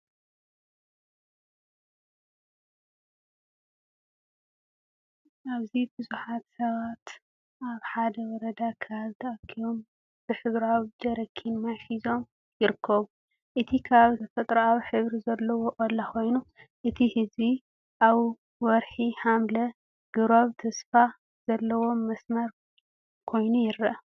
ኣብዚ ብዙሓት ሰባት ኣብ ሓደ ወረዳ ከባቢ ተኣኪቦም ብሕብራዊ ጀሪካን ማይ ሒዞም ይርከቡ። እቲ ከባቢ ተፈጥሮኣዊ ኣግራብ ዘለዎ ቆላ ኮይኑ፡ እቲ ህዝቢ ኣብ ወርሒ ሓምለ ግብራዊ ተስፋ ዘለዎ መስመር ኮይኑ ይረአ።